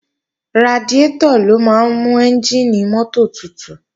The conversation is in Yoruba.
Radiátọ̀ ló máa ń mú ẹ́njìnì mọ́tò tutù